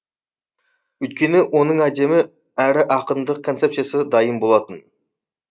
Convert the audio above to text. өйткені оның адами әрі ақындық концепсиясы дайын болатын